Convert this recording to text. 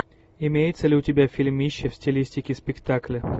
имеется ли у тебя фильмище в стилистике спектакля